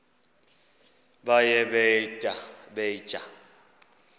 baye bee tyaa